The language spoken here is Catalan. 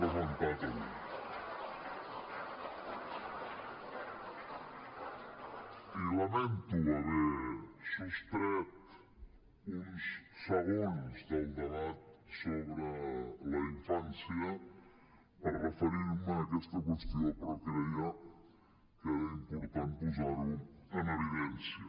i lamento haver sostret uns segons del debat sobre la infància per referir me a aquesta qüestió però creia que era important posar ho en evidència